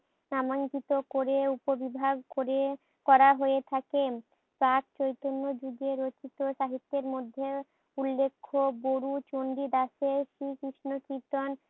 নামাঙ্কিত করে উপবিভাগ করে করা হয়ে থাকে। তা চৈতন্য যুগের সাহিত্যের মধ্যে উল্লেখ্য বডু চন্ডিদাসের শ্রীকৃষ্ণ কীর্তন,